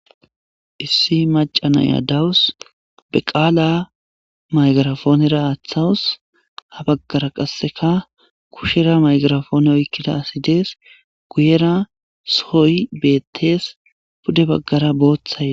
Issi macanaya dawus be qaala maygarafoonera aaththawus ha baggara qasseka kushera maygarafoone oykkida asi dees guyera soy beettees pude baggara booththaye.